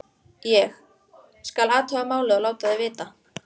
Ég: skal athuga málið og láta þig vita